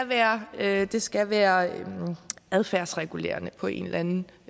være være det skal være adfærdsregulerende på en eller anden